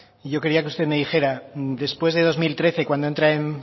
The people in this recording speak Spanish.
yo quería que usted me dijera después de dos mil trece cuando entra en